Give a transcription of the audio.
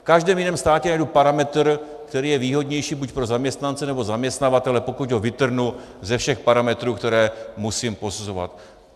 V každém jiném státě najdu parametr, který je výhodnější buď pro zaměstnance, nebo zaměstnavatele, pokud ho vytrhnu ze všech parametrů, které musím posuzovat.